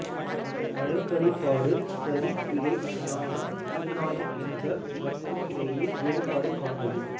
வழக்கடிபாடு சரி பிழை நியாயம் அநியாயம் என்பவற்றுக்கிடையே வேறுபாடு காண்பது